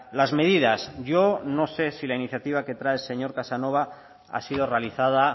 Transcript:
las medidas yo no sé si la iniciativa que trae el señor casanova ha sido realizada